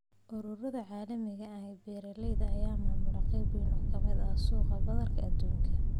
Ururada caalamiga ah ee beeralayda ayaa maamula qayb wayn oo ka mid ah suuqa badarka aduunka.